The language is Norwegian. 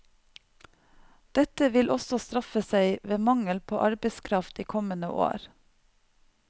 Dette vil også straffe seg ved mangel på arbeidskraft i kommende år.